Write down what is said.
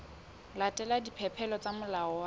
latela dipehelo tsa molao wa